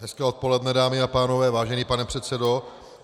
Hezké odpoledne, dámy a pánové, vážený pane předsedo.